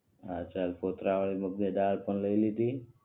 હા ચાલ ફોત્રા વાળી મગની દાલ પણ લઈ લીધી